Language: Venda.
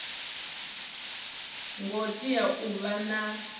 ngo tea u vha na